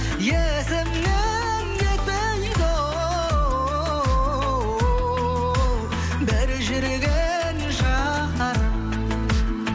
есімнен кетпейді оу бір жүрген шақтарым